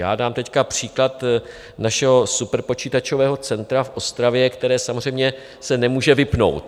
Já dám teď příklad našeho superpočítačového centra v Ostravě, které samozřejmě se nemůže vypnout.